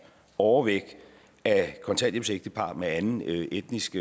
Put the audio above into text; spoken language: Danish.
overvægt af kontanthjælpsægtepar med anden etnisk